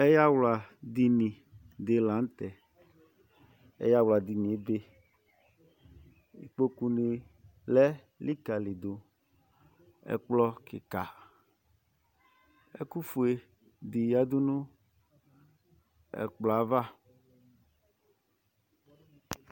Ɛyawla dini ɖila ŋtɛ Kpokunílɛ likalìɖʋ ɛkplɔ kìka Ɛkufʋeɖi yaɖunʋ ɛkplɔɛva